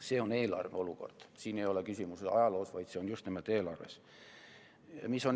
See on eelarve olukord, siin ei ole küsimus ajaloos, vaid just nimelt eelarves.